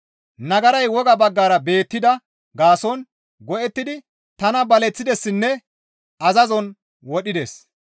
Nagaray woga baggara beettida gaason go7ettidi tana baleththidessinne azazon wodhides.